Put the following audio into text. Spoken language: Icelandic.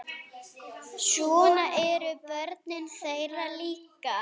Svona eru börnin þeirra líka.